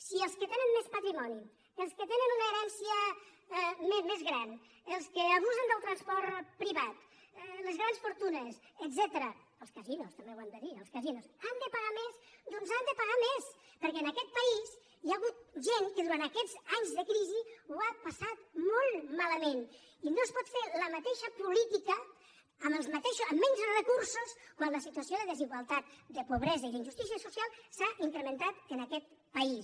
si els que tenen més patrimoni els que tenen una herència més gran els que abusen del transport privat les grans fortunes etcètera els casinos també ho hem de dir els casinos han de pagar més doncs han de pagar més perquè en aquest país hi ha hagut gent que durant aquests anys de crisi ho ha passat molt malament i no es pot fer la mateixa política amb menys recursos quan la situació de desigualtat de pobresa i d’injustícia social s’ha incrementat en aquest país